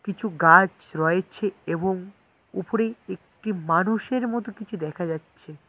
কিছু গাছ রয়েছে এবং উফরে একটি মানুষের মতো কিছু দেখা যাচ্ছে।